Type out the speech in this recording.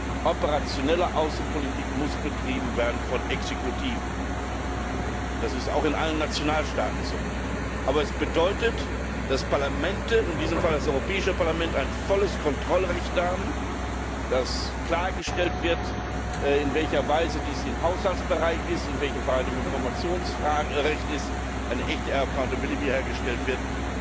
Die operationelle Außenpolitik muss betrieben werden von Exekutiven. Das ist auch in allen Nationalstaaten so. Aber es bedeutet, dass Parlamente und in diesem Fall das Europäische Parlament ein volles Kontrollrecht haben, dass klargestellt wird, in welcher Weise dies für den Haushaltsbereich gilt, in welchen Fragen ein Informationsrecht besteht und eine echte accountability hergestellt wird.